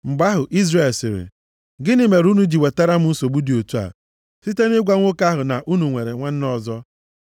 Mgbe ahụ Izrel sịrị, “Gịnị mere unu ji wetara m nsogbu dị otu a, site nʼịgwa nwoke ahụ na unu nwere nwanne ọzọ.”